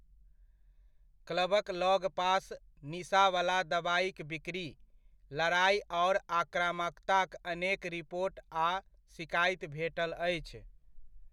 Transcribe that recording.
क्लबक लगपास निसाँवला दवाइक बिकरी, लड़ाइ आओर आक्रामकताक अनेक रिपोट आ सिकाइति भेटल अछि।